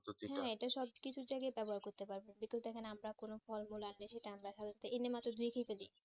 এটা সব কিছু জায়গায় ব্যবহার করতে পারবেন যেটা দেখেন আমরা কোনো ফল মূল আনতেসি সেটা আমরা